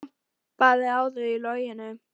Sólin glampaði á þau í logninu.